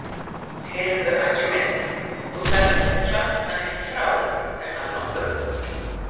Heyrðu Aggi minn. þú ferð ekkert að kjafta neitt frá, er það nokkuð?